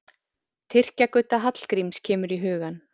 Tyrkja-Gudda Hallgríms kemur í hugann.